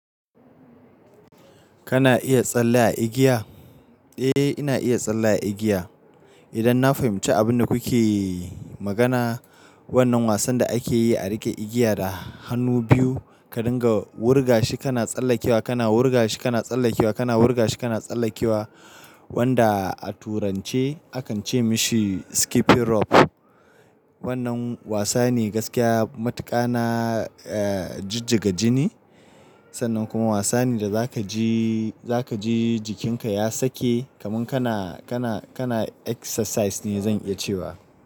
Kana iya tsalle a igiya? Eh, ina iya tsalle a igiya. Idan na fahimci abin da kuke magana, wannan wasan da ake yi a riƙe igiya da hannu biyu ka dinga wurga shi kana tsallakewa, kana wurga shi kana tsallakewa, kana wurga shi kana tsallakewa wanda a turance a kan ce mishi skipping rope. Wannan wasa ne gaskiya matuƙa na, eh, jijjiga jini. Sannan kuma wasa ne da zaka ji, zaka ji jikinka ya sake kamin kana, kana, kana exercise ne zan iya cewa.